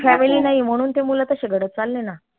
family नाई म्हणून ते मुलं तशे घडत चालले ना